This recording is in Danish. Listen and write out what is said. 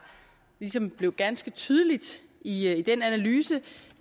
ligesom blev ganske tydeligt i den analyse